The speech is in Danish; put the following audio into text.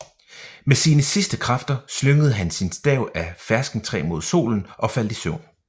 Med sine sidste kræfter slyngede han sin stav af ferskentræ mod solen og faldt i søvn